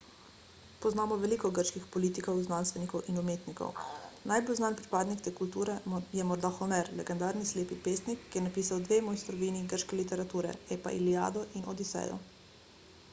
poznamo veliko grških politikov znanstvenikov in umetnikov najbolj znan pripadnik te kulture je morda homer legendarni slepi pesnik ki je napisal dve mojstrovini grške literature epa iliado in odisejo